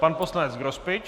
Pan poslanec Grospič.